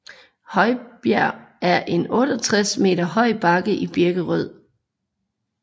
Høbjerg er en 68 meter høj bakke i Birkerød